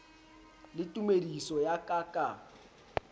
le tumediso ya ka ka